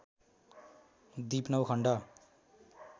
दिप नौ खण्ड